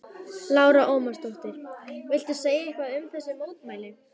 Lára Ómarsdóttir: Viltu segja eitthvað um þessi mótmæli?